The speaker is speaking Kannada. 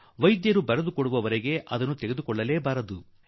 ವೈದ್ಯರು ಎಲ್ಲಿಯವರೆಗೆ ಬರೆದುಕೊಡುವುದಿಲ್ಲವೋ ಅಲ್ಲಿಯವರೆಗೆ ಅದರಿಂದ ಬಚಾವಾಗಿ ಇರೋಣ